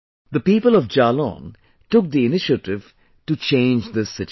The people of Jalaun took the initiative to change this situation